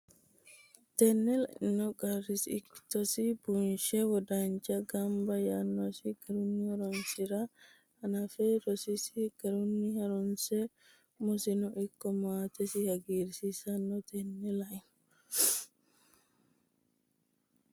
Tenne laino Qarrisi ikkitosi bunshe wodanche gaabbe yannasi garunni horoonsi ra hanafe rososi garunni harunse umosino ikko maatesi hagiirsiisino Tenne laino.